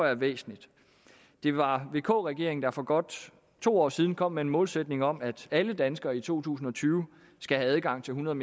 er væsentligt det var vk regeringen der for godt to år siden kom med en målsætning om at alle danskere i to tusind og tyve skal have adgang til hundrede